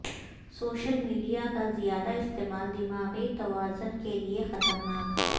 social media کا زیادہ استعمال دماغی توازن کیلئے خطرناک